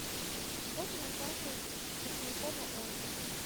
фото нотариус кушникова он